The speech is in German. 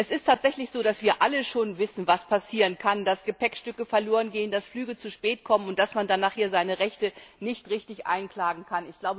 Es ist tatsächlich so, dass wir alle schon wissen, was passieren kann dass Gepäckstücke verlorengehen, dass Flüge zu spät kommen und dass man dann nachher seine Rechte nicht richtig einklagen kann.